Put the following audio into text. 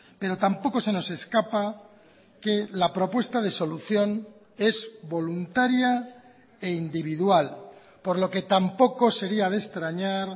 pero tampoco se nos escapa que la propuesta de solución es voluntaria e individual por lo que tampoco sería de extrañar